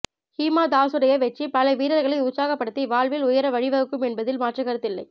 ஹிமா தாஸுடைய வெற்றி பல வீரர்களை உற்சாகப்படுத்தி வாழ்வில் உயர வழிவகுக்கும் என்பதில் மாற்றுக்கருத்து இல்லை